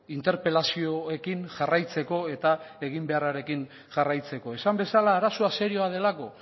interpelazioekin jarraitzeko eta egin beharrarekin jarraitzeko esan bezala arazoa serioa delako